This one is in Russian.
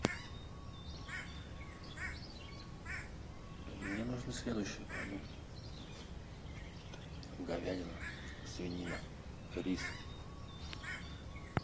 мне нужны следующие продукты говядина свинина рис